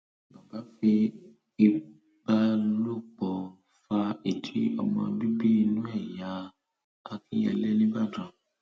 baba fi ìbálòpọ fa ìdí ọmọ bíbí inú ẹ ya làkínyẹlé nìbàdàn